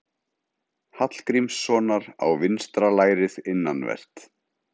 Hallgrímssonar á vinstra lærið innanvert.